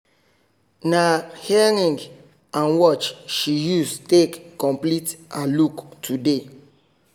na earring and watch she use take complete her look today